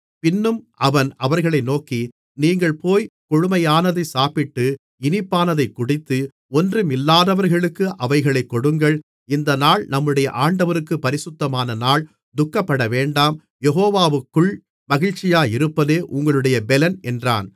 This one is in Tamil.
பின்னும் அவன் அவர்களை நோக்கி நீங்கள் போய்க் கொழுமையானதைச் சாப்பிட்டு இனிப்பானதைக்குடித்து ஒன்றுமில்லாதவர்களுக்கு அவைகளை கொடுங்கள் இந்த நாள் நம்முடைய ஆண்டவருக்குப் பரிசுத்தமான நாள் துக்கப்படவேண்டாம் யெகோவாவுக்குள் மகிழ்ச்சியாயிருப்பதே உங்களுடைய பெலன் என்றான்